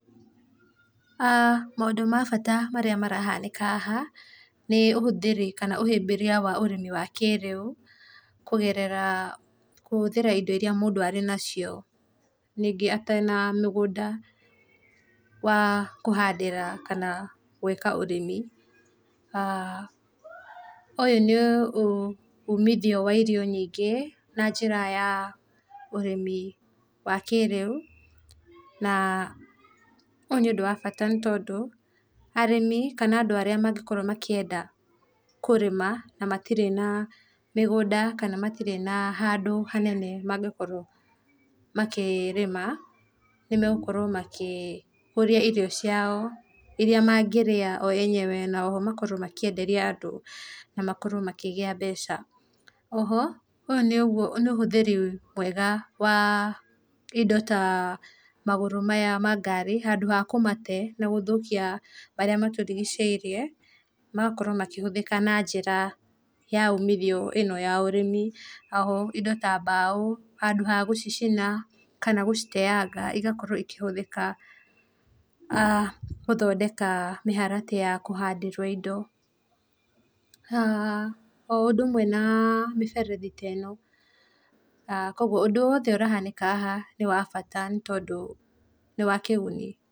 Aah Maũndũ ma bata marĩa marahanĩka haha nĩ ũhũthĩri kana ũhĩmbĩrĩa wa ũrĩmi wa kĩrĩũ, kũgerera kũhũthĩra ĩndo ĩrĩa mũndũ arĩ nacio, ningĩ atĩrĩ na mĩgũnda wa kũhandĩra kana gũĩka ũrĩmi[aah]. Ũyũ nĩ ũmithio wa irio nyĩngĩ na njĩra ya ũrĩmi wa kĩrĩũ na ũyũ nĩ ũndũ wa bata, nĩ tondũ arĩmi kana andũ arĩa mangĩkorwo makĩenda kũrĩma na matirĩ na mĩgũnda, kana matirĩ na handũ hanene mangĩkorwo makĩrĩma, nĩ megũkorwo makĩ kũria irio ciao ĩrĩa mangĩrĩa o enyewe na oho makorwo makĩenderia andũ na makorwo makĩgĩa mbeca. Oho ũyũ nĩ ũhũthĩri mwega wa indo ta magũrũ maya ma ngari handũ ha kũmate na gũthũkia marĩa matũrigicĩirie, magakorwo makĩhũthĩka na njĩra ya ũmithio ĩno ya ũrĩmi. Oho indo ta mbaũ handũ ha gũcicina kana gũciteanga, igakorwo ikahũthĩka aah gũthondeka mĩharatĩ ya kũhandĩrwo indo, aah o ũndũ ũmwe na mĩberethi ta ĩno, kogwo ũndũ wothe ũrahanĩka haha nĩ wa bata, nĩ tondũ nĩ wa kĩguni.